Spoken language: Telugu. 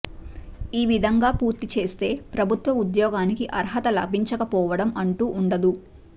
ఈ విధంగా పూర్తి చేస్తే ప్రభుత్వ ఉద్యోగానికి అర్హత లభించకపోవడం అంటూ ఉండదు